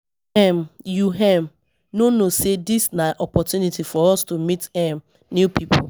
um You um no know say dis na opportunity for us to meet um new people.